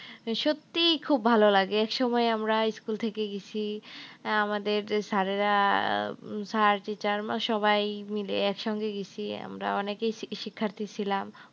সত্যিই খুব ভালো লাগে। একসময় আমরা school থেকে গেছি। আহ আমাদের sir এ রা sir, teacher আমরা সবাই মিলে একসঙ্গে গেছি আমরা অনেকেই শিক্ষার্থী ছিলাম।